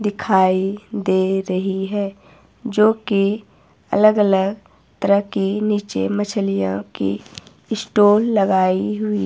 दिखाई दे रही है जो की अलग अलग तरह के नीचे मछलियों की स्टाल लगाई हुई--